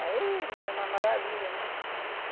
Aí, ma é uma maravilha, né?